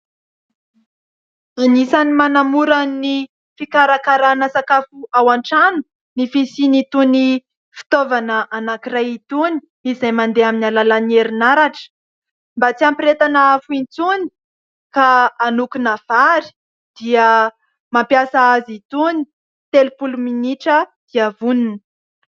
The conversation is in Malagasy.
Anisany manamora ny fikarakarana sakafo ao an-trano ny fisiany itony fitaovana anankiray itony izay mandeha amin'ny alalan'ny herinaratra ; mba tsy hampirehetana afo intsony ka hanokona vary dia mampiasa azy itony ; telopolo minitra dia vonona.